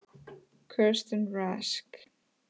Kirsten Rask.